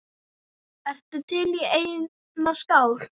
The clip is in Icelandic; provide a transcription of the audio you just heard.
Ertu til í eina skák?